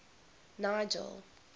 nigel